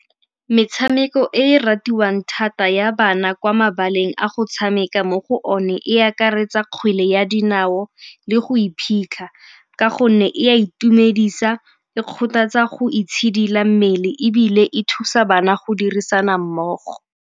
Metshameko e e ratiwang thata ya bana kwa mabaleng a go tshameka mo go one e akaretsa kgwele ya dinao le go iphitlha ka gonne e a itumedisa, e kgothatsa go itshidila mmele ebile e thusa bana go dirisana mmogo.